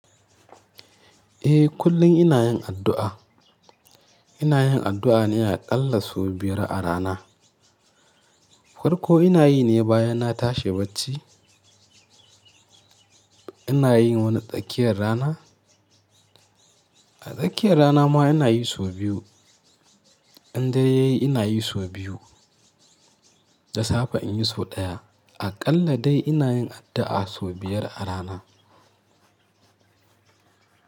Eh kullum ina yin addu'a. Ina yin addu'a ne aƙalla sau biyar a rana. Farko ina yi ne bayan na tashi bacci, ina yin wani tsakiyar rana. A tsakiyar rana ma ina yi sau biyu. Indare yayi ina yi sau biyu. Da safe in yi sau ɗaya. Aƙalla dai ina yin addu'a sau biyar a rana.